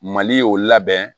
Mali y'o labɛn